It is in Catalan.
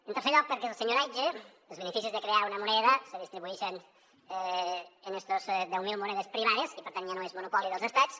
en tercer lloc perquè el senyoratge els beneficis de crear una moneda se distribuïxen en estes deu mil monedes privades i per tant ja no és monopoli dels estats